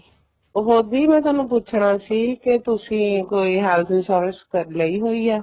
ਉਹ ਦੀ ਮੈਂ ਥੋਨੂੰ ਪੁੱਛਣਾ ਸੀ ਕੇ ਤੁਸੀਂ ਕੋਈ health insurance ਲਈ ਹੋਈ ਆ